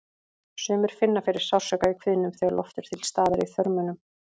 Sumir finna fyrir sársauka í kviðnum þegar loft er til staðar í þörmunum.